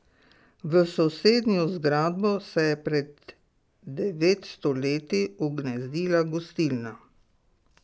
V sosednjo zgradbo se je pred devetsto leti ugnezdila gostilna.